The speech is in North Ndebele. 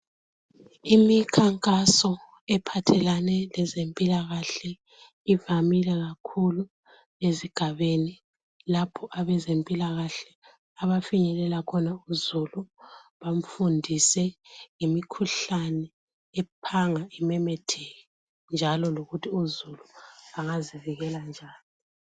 Imikhankaso ephathelane lezempilakahle ivamile kakhulu ezigabeni lapho abezempilakahle abafinyelela khona uzulu, bamfundise ngemkhuhlane ephanga imemetheke njalo lokuthi uzulu angazivikela njani.